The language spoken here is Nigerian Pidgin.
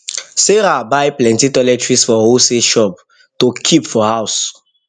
sarah buy plenty toiletries for wholesale shop to kip for house